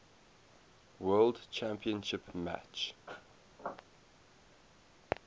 world championship match